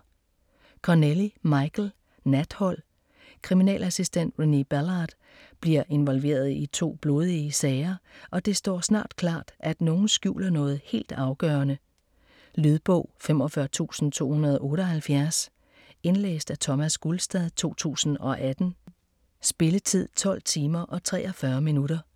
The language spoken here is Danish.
Connelly, Michael: Nathold Kriminalassistent Renée Ballard bliver involveret i to blodige sager, og det står snart klart, at nogen skjuler noget helt afgørende. Lydbog 45278 Indlæst af Thomas Gulstad, 2018. Spilletid: 12 timer, 43 minutter.